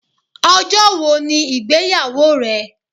Ọjọ́ wo ni ìgbéyàwó rẹ?